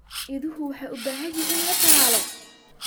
Idaha waxay u baahan yihiin in la tallaalo.